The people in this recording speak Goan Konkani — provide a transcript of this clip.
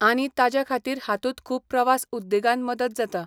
आनी ताज्या खातीर हातूंत खूब प्रवास उद्देगान मदत जाता.